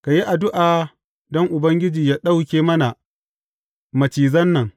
Ka yi addu’a don Ubangiji yă ɗauke mana macizan nan.